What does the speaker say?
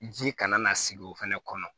Ji kana na sigi o fɛnɛ kɔnɔ